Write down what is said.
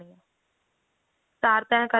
ਚਾਰ ਤੇਹਾਂ